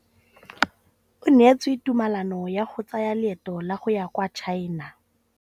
O neetswe tumalanô ya go tsaya loetô la go ya kwa China.